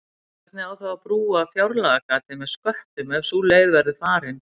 Hvernig á þá að brúa fjárlagagatið með sköttum ef sú leið verður farin?